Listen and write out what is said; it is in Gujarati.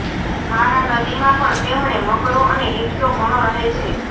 મારા નદીમાં પણ તેમણે મગરો અને હિપ્પો ઘણો રહે છે